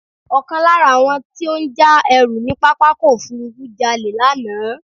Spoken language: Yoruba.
Ọkàn lára àwọn tí ó ń já ẹrú ní pápákọ̀ òfúrúfú jalè lánàá.